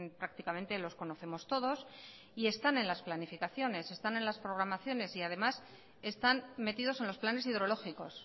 prácticamente los conocemos todos y están en las planificaciones están en las programaciones y además están metidos en los planes hidrológicos